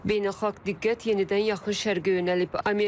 Beynəlxalq diqqət yenidən yaxın şərqə yönəlib.